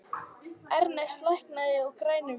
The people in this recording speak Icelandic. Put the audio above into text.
Ernest, lækkaðu í græjunum.